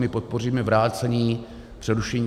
My podpoříme vrácení, přerušení...